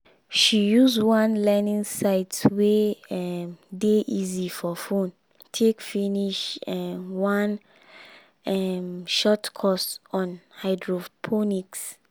she use one learning site wey um dey easy for phone take finish um one um short course on hydroponics